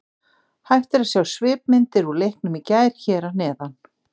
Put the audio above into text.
Hægt er að sjá svipmyndir úr leiknum í gær hér að neðan.